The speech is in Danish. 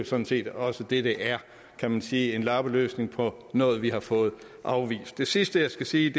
sådan set også det det er kan man sige altså en lappeløsning på noget vi har fået afvist det sidste jeg skal sige